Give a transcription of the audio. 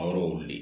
A yɔrɔ olu de